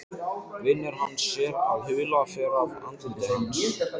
Vinur hans sér að hula fer af andliti hans.